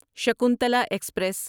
Shakuntala express